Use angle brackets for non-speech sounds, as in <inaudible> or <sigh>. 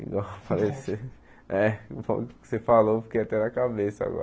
<unintelligible> é o <unintelligible> que você falou fiquei até na cabeça agora.